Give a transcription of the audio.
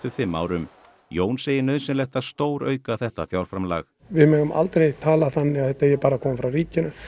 fimm árum Jón segir nauðsynlegt að stórauka þetta fjárframlag við megum aldrei tala þannig að þetta eigi bara að koma frá ríkinu